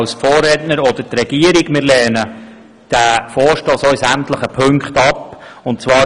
Auch wir lehnen den Vorstoss in sämtlichen Punkten ab.